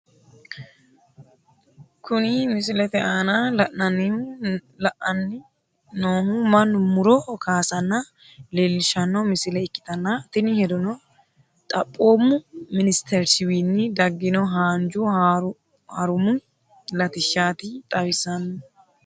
Kuni misilete aana la'nanni noohu mannu muro kaasanna leellishshanno misile ikkitanna, tini hedono xaphoomu ministerichiwiinni daggino haanju harumi latishshaati xawissanno.